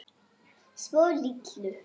Svo litlu.